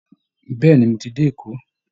Bẹ́ẹ̀ ni, mo ti dé Èkó